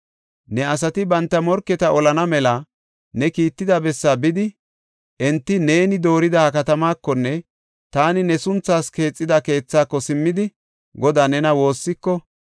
“Ne asati banta morketa olana mela ne kiitida bessaa bidi, enti neeni doorida ha katamaakonne taani ne sunthaas keexida keethaako simmidi Godaa nena woossiko,